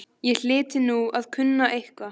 Ég hlyti nú að kunna eitthvað.